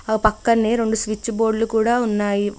ఆ పక్కనే రెండు స్విచ్ బోర్డులు కూడా ఉన్నాయి.